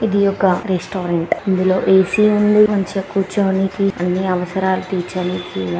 ఇది ఒక రెస్టారెంట్ ఇందులో ఏ_సి ఉంది. మంచిగా కూర్చోనీకి అన్ని అవసరాలు తీర్చనీకి.